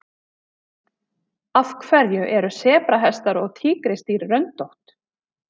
Af hverju eru sebrahestar og tígrisdýr röndótt?